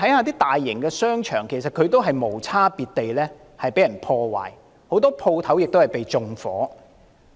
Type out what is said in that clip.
大型商場同樣遭到無差別破壞，很多商鋪被縱火。